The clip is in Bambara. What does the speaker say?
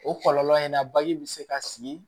O kɔlɔlɔ in na bagi bɛ se ka sigi